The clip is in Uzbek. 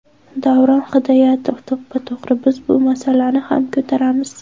Davron Hidoyatov: To‘ppa-to‘g‘ri, biz bu masalani ham ko‘taramiz.